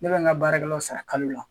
Ne bɛ n ka baarakɛlaw sara kalo la.